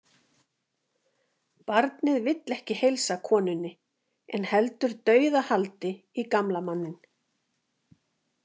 Barnið vill ekki heilsa konunni en heldur dauðahaldi í gamla manninn.